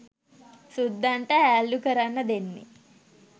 සුද්දන්ට හැල්ලු කරන්න දෙන්නේ.